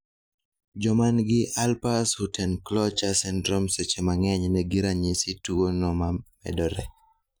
Jomangi Alpers-Huttenlocher syndrome seche mang'eny nigi ranyisi tuo no mamedore